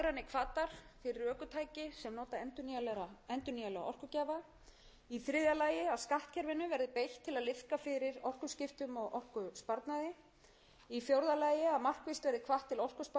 nota endurnýjanlega orkugjafa í þriðja lagi að skattkerfinu verði beitt til að liðka fyrir orkuskiptum og orkusparnaði í fjórða lagi að markvisst verði hvatt til orkusparnaðar meðal annars með upplýsingamiðlun